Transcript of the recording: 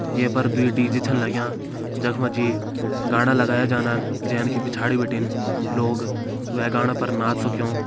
ये पर दुई डी.जे छन लग्यां जख मा जी गाणा लगायां जान्न जैन की पिछाड़ी बिटिन लोग वै गाणा पर नाच सक्यों।